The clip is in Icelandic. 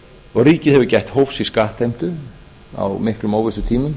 greiðslunum ríkið hefur gætt hófs í skattheimtu á miklum óvissutímum